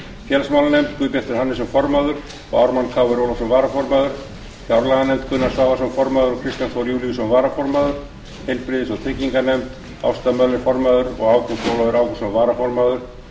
félagsmálanefnd guðbjartur hannesson formaður og ármann krónu ólafsson varaformaður fjárlaganefnd gunnar svavarsson formaður og kristján þór júlíusson varaformaður heilbrigðis og trygginganefnd ásta möller formaður og ágúst ólafur ágústsson varaformaður